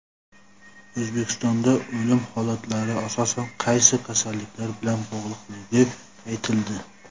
O‘zbekistonda o‘lim holatlari asosan qaysi kasalliklar bilan bog‘liqligi aytildi.